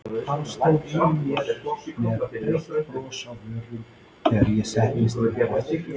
Hann stóð yfir mér með breitt bros á vörunum þegar ég settist upp aftur.